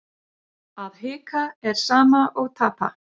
Að hika er sama og tapa.